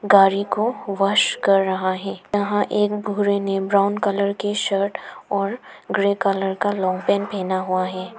गाड़ी को वाश कर रहा है यहां एक बूढ़े ने ब्राऊन कलर की शर्ट और ग्रे कलर का लांग पैंट हुआ है।